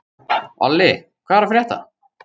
Olli, hvað er að frétta?